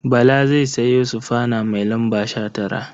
Bala zai sayo sufana mai lamba 19.